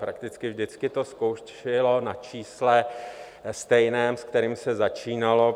Prakticky vždycky to skončilo na čísle stejném, se kterým se začínalo.